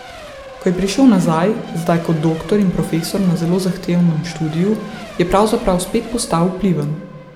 Ko je prišel nazaj, zdaj kot doktor in profesor na zelo zahtevnem študiju, je pravzaprav spet postal vpliven.